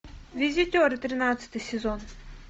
визитеры тринадцатый сезон